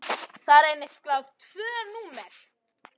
Þar reynast skráð tvö númer.